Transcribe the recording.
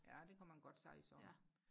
ja det kan man godt sige sådan